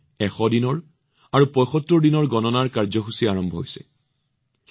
দিল্লীত ১০০তম দিন আৰু ৭৫তম দিনৰ কাউণ্টডাউন কাৰ্যসূচী অনুষ্ঠিত হৈছে